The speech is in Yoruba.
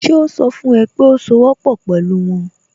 Ṣe ó sọ fún ẹ pé sowọ́pọ̀ pẹ̀lú wọn?